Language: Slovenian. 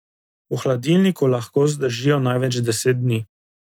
V hladilniku lahko zdržijo največ deset dni.